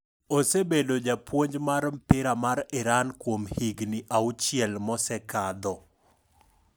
Osebedo japuonj mar mpira mar Iran kuom higni auchiel mosekadho.